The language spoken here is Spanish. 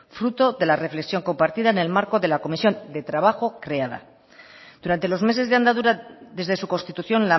fruto de la reflexión compartida en el marco de la comisión de trabajo creada durante los meses de andadura desde su constitución